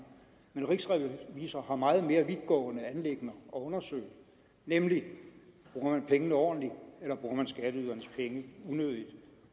men rigsrevisor har meget mere vidtgående anliggender at undersøge nemlig bruger man pengene ordentligt eller bruger man skatteydernes penge unødigt